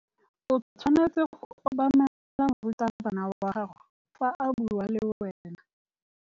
O tshwanetse go obamela morutabana wa gago fa a bua le wena.